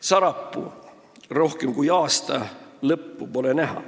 Sarapuu: rohkem kui aasta ja lõppu pole näha.